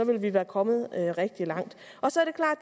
vil vi være kommet rigtig langt